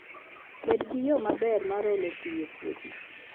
Bed gi yo maber mar olo pi e puothi